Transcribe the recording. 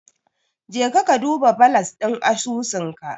Jeka ka duba balas ɗin asusunka.